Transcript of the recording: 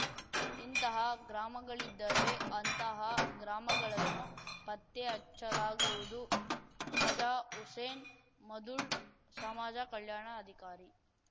ಇಂತಹ ಗ್ರಾಮಗಳಿದ್ದರೆ ಅಂತಹ ಗ್ರಾಮಗಳನ್ನು ಪತ್ತೆ ಹಚ್ಚಲಾಗುವುದು ಕಾಜಾಹುಸೇನ್‌ ಮದೊಳ್‌ ಸಮಾಜ ಕಲ್ಯಾಣ ಅಧಿಕಾರಿ